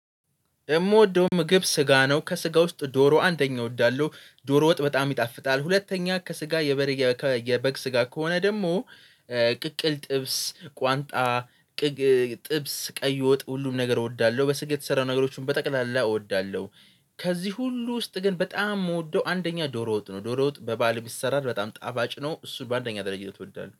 የምወደው ምግብ ስጋ ነው ከስጋ ውስጥ ዶሮ አንደኛ እወዳለሁ። ዶሮ ወጥ በጣም ይጣፍጣል ሁለተኛ ከስጋ የበር የበግ ስጋ ከሆነ ደግሞ። ቅቅል ጥብስ ቋንጣ። ጥብስ ቀይ ወጥ ሁሉም ነገር እወዳለሁ በስጋ የተሰራ ነገሮችን በጠቅላላ እወዳለሁ። ከዚህ ሁሉ ውስጥ ግን በጣም የምወደው አንደኛ ዶሮ ወጥ ነው። ዶሮ ወጥ በባል የሚሰራ በጣም ጣባጭ ነው። እሱ በአንደኛ ድረጃነት እወዳል